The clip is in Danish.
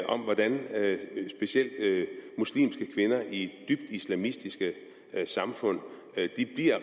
om hvordan specielt muslimske kvinder i dybt islamistiske samfund